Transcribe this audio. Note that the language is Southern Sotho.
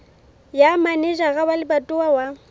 ya manejara wa lebatowa wa